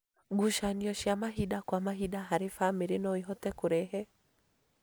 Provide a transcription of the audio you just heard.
Ngucanio cia mahinda kwa mahinda harĩ bamĩrĩ no ihote kũrehe